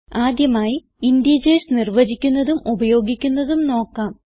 ആദ്യമായി ഇന്റീജർസ് നിർവചിക്കുന്നതും ഉപയോഗിക്കുന്നതും നോക്കാം